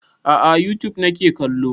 A'a a youtube nake kallo